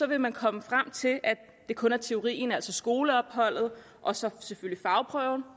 vil man komme frem til at det kun er teorien altså skoleopholdet og så selvfølgelig fagprøven